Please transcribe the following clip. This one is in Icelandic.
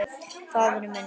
Faðir minn.